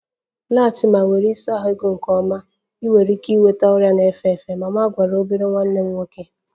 Laghachi ma were ịsa ahụ gị nke ọma! Ị nwere ike ịnweta mama na-efe efe gwara obere nwanne m nwoke